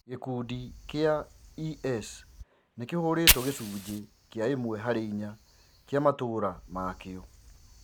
Gikundi kia IS nikihuritwo gicunje kia imwe hari inya kia matura mayo.